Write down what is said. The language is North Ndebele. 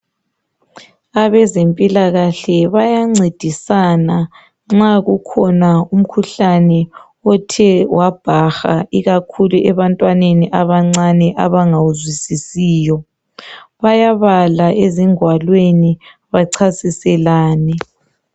Abezempilakahle bayamcedisana nxa kukhona umkhuhlane othe wabhaha ,ikakhulu ebantwaneni abancane ,abangawuzwisisiyo .Bayabala ezingwalweni bacasiselane.